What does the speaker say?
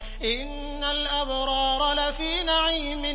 إِنَّ الْأَبْرَارَ لَفِي نَعِيمٍ